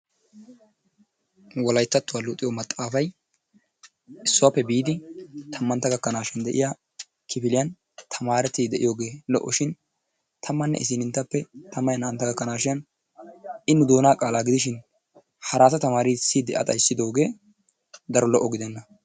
Wolayttattuwa luxiyo maxaafay issuwappe biidi tammantta gakanashin de'iyaa kifiliyaan tamarettide de'iyooge lo''oshin tammanne issinttappe tammanne naa''antta gakkanashin I nu doona qaalaa gidishin harata tamatisside a xayssidooge daro lo''o gidenna.